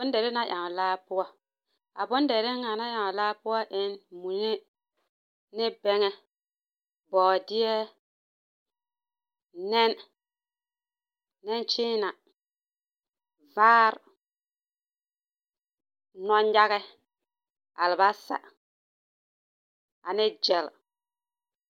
Bondere la ewo a laa poɔ, a bondere ŋa na ewo a laa poɔ en mune ne bɛŋɛ, bɔɔdeɛ, nɛne nɛnkyeena, vaare, nɔngage, alebasa ane gyɛle. 13396.